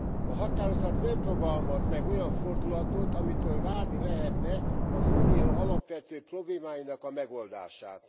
A határozat nem fogalmaz meg olyan fordulatot, amitől várni lehetne az Unió alapvető problémáinak a megoldását.